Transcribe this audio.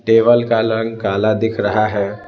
Table का रंग काला दिख रहा है ।